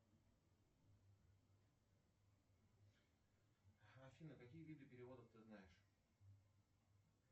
афина какие виды переводов ты знаешь